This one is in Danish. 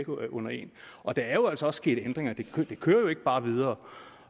under en og der er jo altså også sket ændringer det kører jo ikke bare videre